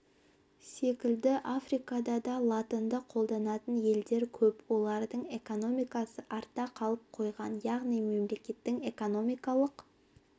секілді африкада да латынды қолданатын елдер көп олардың экономикасы артта қалып қойған яғни мемлекеттің экономикалық